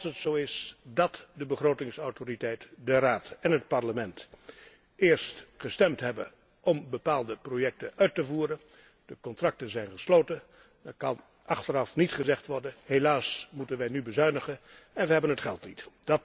Als het zo is dat de begrotingsautoriteit, de Raad en het Parlement, eerst gestemd hebben om bepaalde projecten uit te voeren en de contracten zijn gesloten, dan kan achteraf niet gezegd worden helaas moeten wij nu bezuinigen en wij hebben het geld niet.